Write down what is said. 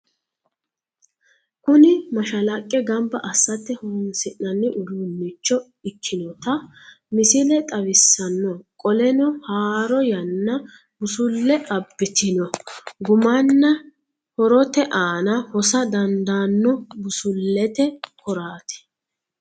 Kuni mashallaqqe gamba assate horoonsi'nanni uduunnicho ikkinota misile xawissanno qoleno haaro yaanna busulle abbitino gumanna horote aana hosa dandaanno busullete koraati.